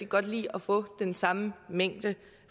godt lide at få den samme mængde